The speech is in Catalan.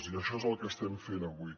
i això és el que estem fent avui